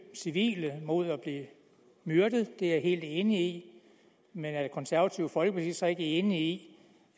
civile mod at blive myrdet det er jeg helt enig i men er det konservative folkeparti så ikke enig